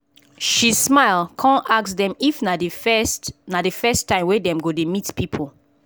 she smile come ask dem if na the first na the first time wey dem go dey meet people